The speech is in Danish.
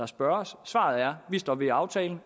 spørges svaret er vi står ved aftalen